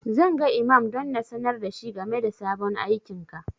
Zan ga imam don sanar da shi game da sabon aikinka.